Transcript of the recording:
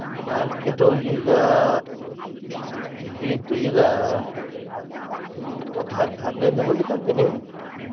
Market ಹೋಗಿ ಈಗ beet~ ಇದ್ ಒಂದ್ ಹತ್ತ್ ಹದಿನೈದ್ ನಮುನಿ ತಂದೀನಿ.